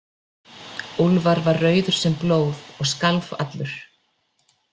Úlfar var rauður sem blóð og skalf allur.